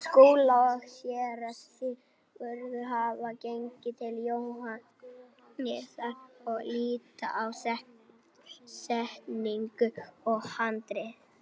Skúli og Séra Sigurður hafa gengið til Jóhannesar og líta á setningu og handrit.